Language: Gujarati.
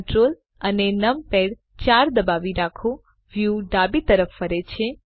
Ctrl અને નંપાડ 4 દબાવી રાખો વ્યુ ડાબી તરફ ફરે છે